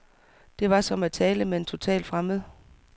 Det var som at tale med en total fremmed.